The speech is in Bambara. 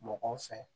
Mɔgɔw fɛ